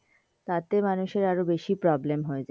তাতে মানুষের আরও বেশি problem হয়ে যায়.